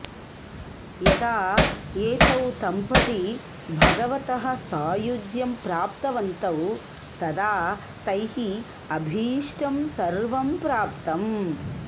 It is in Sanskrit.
यदा एतौ दम्पती भगवतः सायुज्यं प्राप्तवन्तौ तदा तैः अभीष्टं सर्वं प्राप्तम्